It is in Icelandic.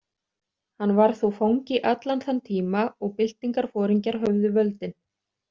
Hann var þó fangi allan þann tíma og byltingarforingjar höfðu völdin.